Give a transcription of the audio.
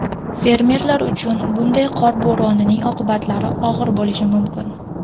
Fermerlar uchun bunday qor bo‘ronining oqibatlari og‘ir bo‘lishi mumkin.